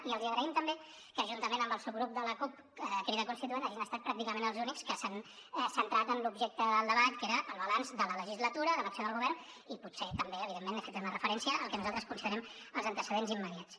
i els agraïm també que juntament amb el subgrup de la cup crida constituent hagin estat pràcticament els únics que s’han centrat en l’objecte del debat que era el balanç de la legislatura de l’acció del govern i potser també evidentment hi he fet una referència al que nosaltres considerem els antecedents immediats